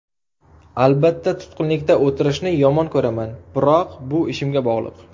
Albatta, tutqunlikda o‘tirishni yomon ko‘raman, biroq bu ishimga bog‘liq.